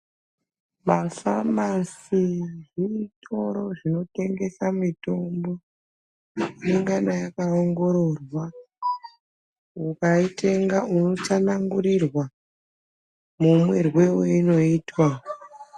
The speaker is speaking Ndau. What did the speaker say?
Mafamasi zvitoro zvino tengesa mitombo inongana yaka ongororwa ukai tenga uno tsanangurirwa mu mwirwe weino itwa.